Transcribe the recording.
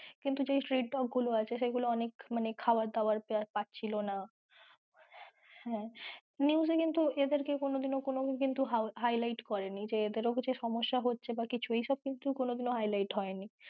কিন্তু যেই street dog গুলো আছে সেইগুলো অনেক মানে খাওয়ার দাওয়ার পাচ্ছিলো না, হ্যাঁ news এ কিন্তু এদের কোনো কিন্তু highlight করেনি যে এদেরও কিছু সমস্যা হচ্ছে বা কিছু এসব কিন্তু কোনোদিনো highlight হয়নি।